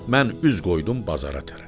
Mən üz qoydum bazara tərəf.